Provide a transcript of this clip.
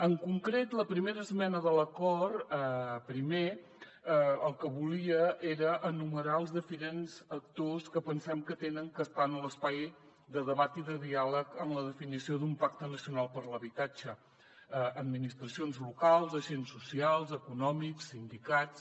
en concret la primera esmena de l’acord primer el que volia era enumerar els diferents actors que pensem que han d’estar en l’espai de debat i de diàleg en la definició d’un pacte nacional per l’habitatge administracions locals agents socials econòmics sindicats